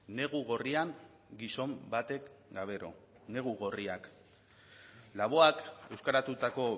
negu gorrian gizon batek gauero negu gorriak laboak euskaratutako